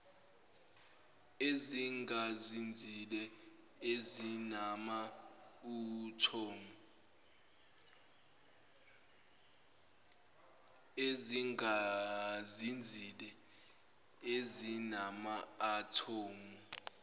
ezingazinzile ezinama athomu